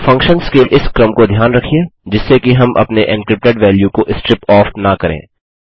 functions के इस क्रम को ध्यान रखिये जिससे कि हम अपने एन्क्रिप्टेड वैल्यू को स्ट्रिप ऑफ़ न करें